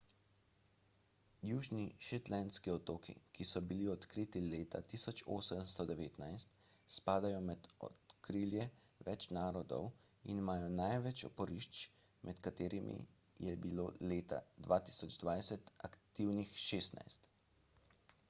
južni shetlandski otoki ki so bili odkriti leta 1819 spadajo pod okrilje več narodov in imajo največ oporišč med katerimi je bilo leta 2020 aktivnih 16